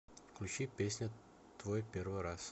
включи песня твой первый раз